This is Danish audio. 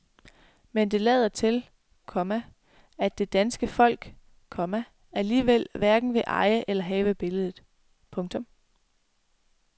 Men det lader til, komma at det danske folk, komma alligevel hverken vil eje eller have billedet. punktum